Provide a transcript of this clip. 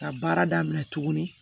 Ka baara daminɛ tuguni